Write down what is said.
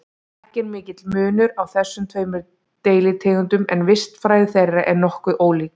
Ekki er mikill munur á þessum tveimur deilitegundum en vistfræði þeirra er nokkuð ólík.